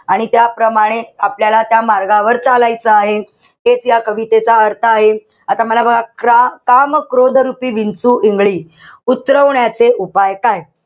आणि त्याप्रमाणे आपल्याला त्या मार्गावर चालायचं आहे. हेच या कवितेचा अर्थ आहे. आता मला बघा क्र काम-क्रोध रुपी विंचू, इंगळी उतरवण्याचे उपाय काय?